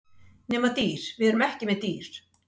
Nema dýr, við erum ekki með dýr.